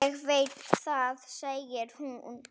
Ég veit það, sagði hún.